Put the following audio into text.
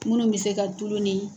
Dumuni bɛ se ka tulu